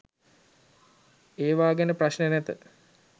ඒවා ගැන ප්‍රශ්න නැත